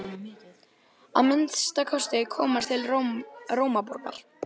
Að minnsta kosti komast til Rómaborgar.